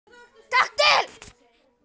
Ekki til.